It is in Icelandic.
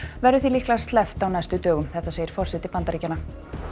verður því líklega sleppt á næstu dögum þetta segir forseti Bandaríkjanna